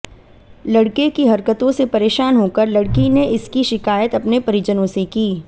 लड़के की हरकतों से परेशान होकर लड़की ने इसकी शिकायत अपने परिजनों से की